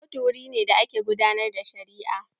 Kotu wuri ne da ake gudanar da shari'a.